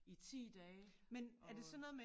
I 10 dage og øh